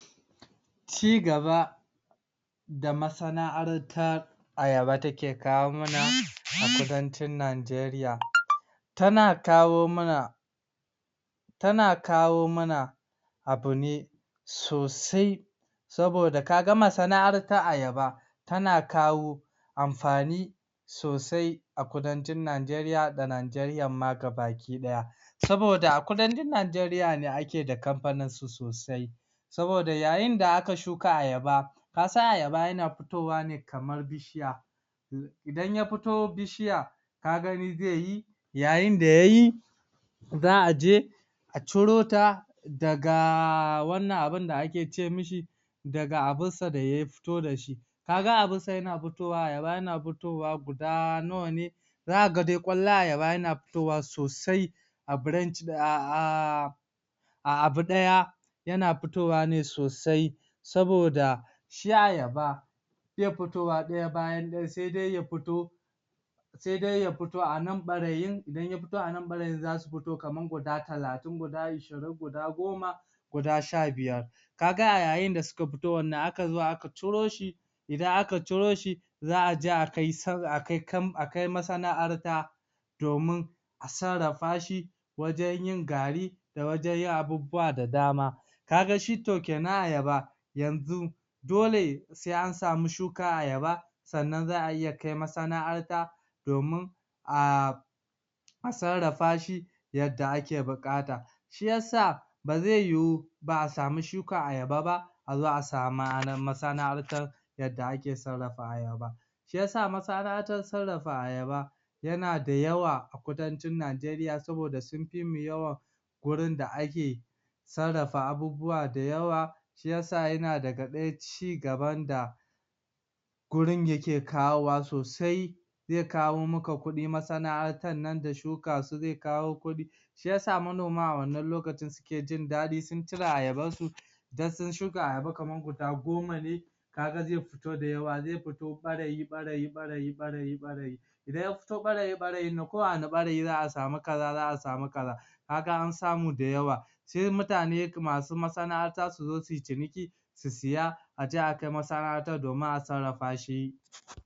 Cigaba da masana'artar Ayaba take kawo mana a kudancin Najeriya tana kawo mana tana kawo mana abu ne sosai saboda kaga masana'artar Ayaba tana kawo amfani sosai ah kudancin Najeriya da Najeriyan ma gaba ki ɗaya, saboda a kudancin Najeriya ne ake da kamfanin su sosai saboda yayin da aka shuka Ayaba kasan Ayaba yana fitowa ne kamar bishiya idan ya fito bishiya kagani zai yi yayin da yayi za'a je a ciro ta daga wannan abun da ake ce mishi daga abun sa da ya fito dashi kaga abun sa yana fitowa Ayaba yana fitowa guda nawane? zaka ga dai ƙwallon Ayaba yana fitowa sosai ah um a abu ɗaya yana fitowa ne sosai saboda shi Ayaba bai fitowa ɗaya bayan ɗaya sai dai ya fito sai dai ya fito a nan ɓarayin idan ya fito a nan ɓarayin zasu fito kaman guda talatin guda ishirin, guda goma guda sha biyar kaga a yayin da suka fitowan nan aka zo aka curo shi idan aka curo shi za'a a ji akai sar akai kam akai masana'arta domin a sarrafa shi wajan yin gari da wajan yin abubuwa da dama kaga shi to kenan Ayaba yanzu dole sai an samu shuka Ayaba sannan za'a iya kai masana'arta domin a sarrafa shi yadda ake buƙata shiyasa ba zai yiyu ba'a samu shuka Ayaba ba azo a samu masana'artar yadda ake sarrafa Ayaba shiyasa masana'arta sarrafa Ayaba yana da yawa a kudancin Najeriya saboda sun fi mu yawa gurin da ake sarrafa abubuwa da yawa shiyasa yana daga ɗaya cigaban da gurun yake kawo wa sosai zai kawo maka kuɗi masana'artar nan da shuka su zai kawo kuɗi shiyasa manoma a wannan lokaci suke jin daɗin sun cire Ayaban su dan sun shuka Ayaba kaman guda goma ne kaga zai fito da yawa, zai futo ɓarayi ɓarayi ɓarayi ɓarayi ɓarayi idan ya futo ɓarayi ɓarayin nan ko a wani ɓarayi za'a samu kaza za'a samu kaza kaga an samu da yawa sai mutane masu masana'arta su zo suyi ciniki su siya a je akai masana'arta domin ah sarrafa shi.